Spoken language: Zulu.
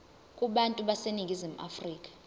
kubantu baseningizimu afrika